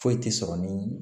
Foyi tɛ sɔrɔ ni